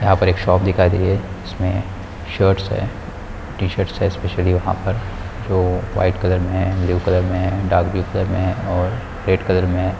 यहाँ पर एक शाप दिखाई दे रही है इसमें शर्ट्स हैं टी-शर्ट्स हैं एस्पेशलि वहाँ पर जो वाइट कलर में हैं ब्लू कलर में हैं डार्क ब्लू कलर में हैं और रेड कलर में हैं।